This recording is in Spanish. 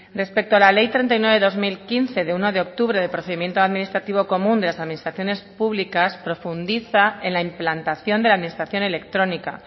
respecto a la ley treinta y nueve barra dos mil quince de uno de octubre de procedimiento administrativo común de las administraciones públicas profundiza en la implantación de la administración electrónica